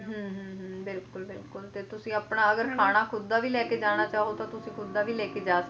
ਹਮ ਹਮ ਹਮ ਬਿਲਕੁਲ ਬਿਲਕੁਲ ਤੇ ਤੁਸੀ ਆਪਣਾ ਖਾਣਾ ਖੁਦ ਦਾ ਵੀ ਲੈਕੇ ਜਾਣਾ ਤਾਂ ਚਾਹੋ ਤਾਂ ਤੁਸੀ ਖੁਦ ਦਾ ਵੀ ਲੈਕੇ ਜਾ